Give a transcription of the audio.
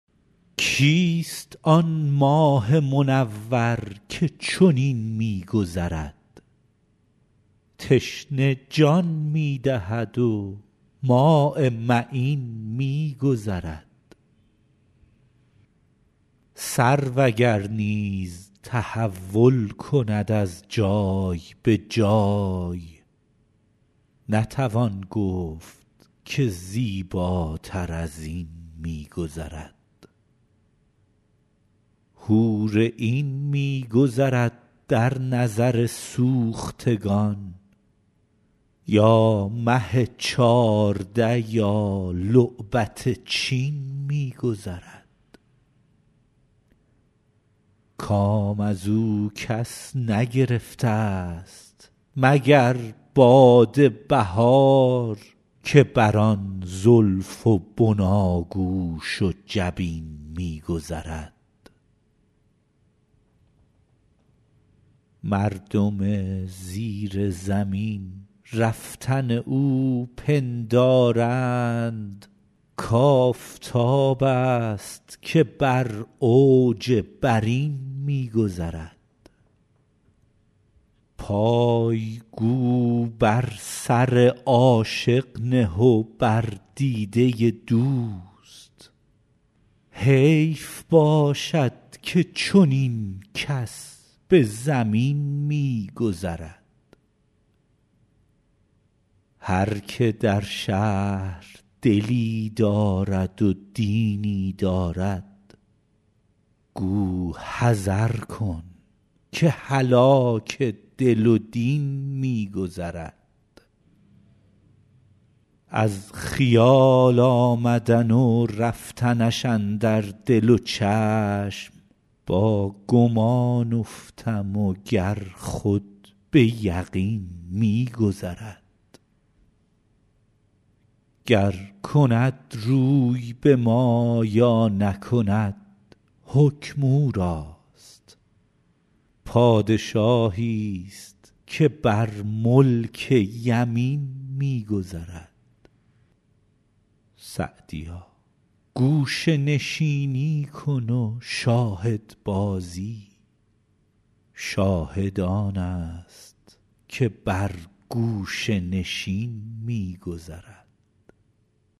کیست آن ماه منور که چنین می گذرد تشنه جان می دهد و ماء معین می گذرد سرو اگر نیز تحول کند از جای به جای نتوان گفت که زیباتر از این می گذرد حور عین می گذرد در نظر سوختگان یا مه چارده یا لعبت چین می گذرد کام از او کس نگرفتست مگر باد بهار که بر آن زلف و بناگوش و جبین می گذرد مردم زیر زمین رفتن او پندارند کآفتابست که بر اوج برین می گذرد پای گو بر سر عاشق نه و بر دیده دوست حیف باشد که چنین کس به زمین می گذرد هر که در شهر دلی دارد و دینی دارد گو حذر کن که هلاک دل و دین می گذرد از خیال آمدن و رفتنش اندر دل و چشم با گمان افتم و گر خود به یقین می گذرد گر کند روی به ما یا نکند حکم او راست پادشاهیست که بر ملک یمین می گذرد سعدیا گوشه نشینی کن و شاهدبازی شاهد آنست که بر گوشه نشین می گذرد